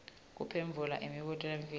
kuphendvula imibuto lemifisha